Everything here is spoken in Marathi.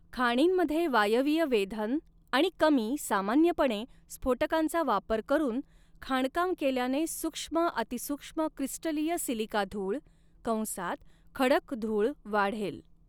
खाणींमध्ये वायवीय वेधन आणि कमी सामान्यपणे, स्फोटकांचा वापर करून खाणकाम केल्याने सूक्ष्म अति सूक्ष्म क्रिस्टलीय सिलिका धूळ कंसात खडक धूळ वाढेल.